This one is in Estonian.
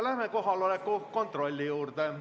Läheme kohaloleku kontrolli juurde.